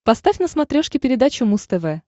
поставь на смотрешке передачу муз тв